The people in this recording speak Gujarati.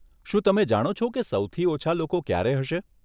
શું તમે જાણો છો કે સૌથી ઓછાં લોકો ક્યારે હશે?